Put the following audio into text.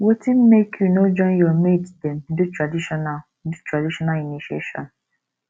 wetin make you no join your mate dem do traditional do traditional initiation